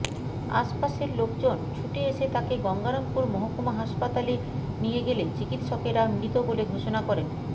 আশপাশের লোকজন ছুটে এসে তাঁকে গঙ্গারামপুর মহকুমা হাসপাতালে নিয়ে গেলে চিকিৎসকেরা মৃত বলে ঘোষণা করেন